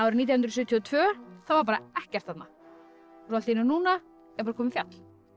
nítján hundruð sjötíu og tvö þá var bara ekkert þarna og allt í einu núna er komið fjall